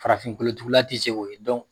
Farafinkolotugula ti se ko ye